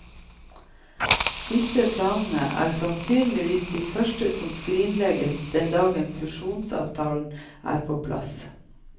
Disse planene er sannsynligvis de første som skrinlegges den dagen fusjonsavtalen er på plass.